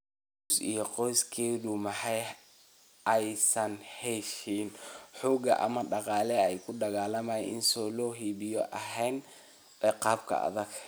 Rose iyo qoyskeedu ma aysan haysan xoog ama dhaqaale ay ku dagaalamaan si loo hubiyo in ay heleen ciqaab adag.